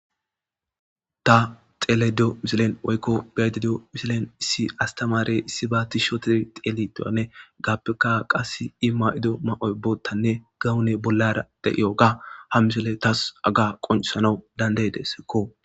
ta xeledio misilen woykko bededio misilen issi astamaare issi baati shotid teelitoanne gappeka qas i ma7ido ma7oy boottanne gawune bollara de7iyo ga ha misole tas aga qoncsanawu dandey dessekko